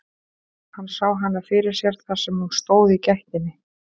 Hann sá hana fyrir sér þar sem hún stóð í gættinni.